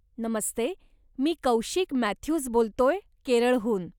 नमस्ते, मी कौशिक मॅथ्यूज बोलतोय, केरळहून